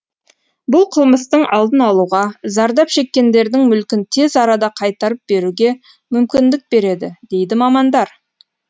бұл қылмыстың алдын алуға зардап шеккендердің мүлкін тез арада қайтарып беруге мүмкіндік береді дейді мамандар